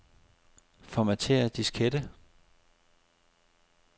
Formatér diskette.